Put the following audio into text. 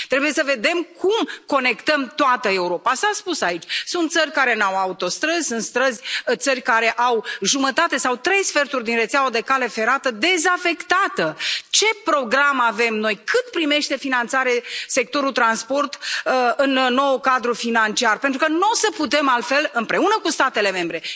Trebuie să vedem cum conectăm toată Europa. S a spus aici sunt țări care nu au autostrăzi, sunt țări care au jumătate sau trei sferturi din rețeaua de cale ferată dezafectată. Ce program avem noi? Cât primește finanțare sectorul transporturilor în noul cadru financiar, pentru că nu o să putem altfel, împreună cu statele membre?